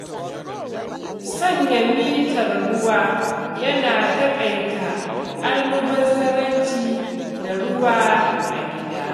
Sanya mitar ruwa yana taƙaita almubazzaranci da ruwa a gida.